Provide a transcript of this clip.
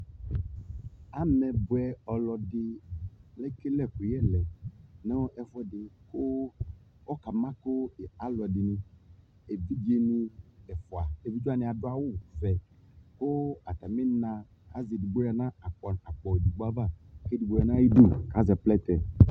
Amɛbʊɛ ɔlɔdi ekele ɛkuyɛ lɛ nu ɛfuedi kʊ ɔkama kʊ evidzedini ɛfua adu awu ɔvɛ kʊ atamina azɛ edigbodi yanu akpɔedigbo ava kuedigbo yanu atamidu kazɛ plɛtɛ